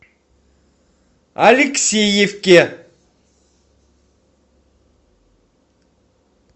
алексеевке